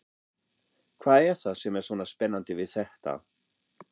Hvað er það sem er svona spennandi við þetta?